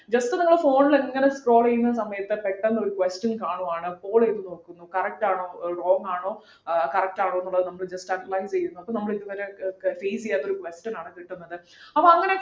just നിങ്ങള് phone ലിങ്ങനെ scroll ചെയ്യുന്ന സമയത്ത് പെട്ടന്നൊരു question കാണുവാണ് scroll ചെയ്തു നോക്കുന്നു correct ആണോ wrong ആണോ ആഹ് corrrect ആണോന്നുള്ളത് നമ്മള് just underline ചെയ്യുന്നു അപ്പൊ നമ്മളിതുവരെ face ചെയ്യാത്തൊരു question ആണ് കിട്ടുന്നത് അപ്പൊ അങ്ങനെയൊക്കെ